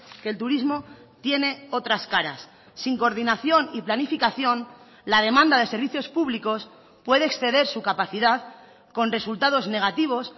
que el turismo tiene otras caras sin coordinación y planificación la demanda de servicios públicos puede exceder su capacidad con resultados negativos